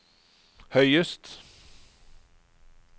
høyest